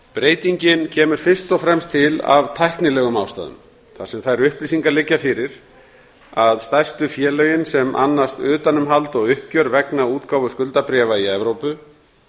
breytingin kemur fyrst og fremst til af tæknilegum ástæðum þar sem þær upplýsingar liggja fyrir að stærstu félögin sem annast utanumhald og uppgjör vegna útgáfu skuldabréfa í evrópu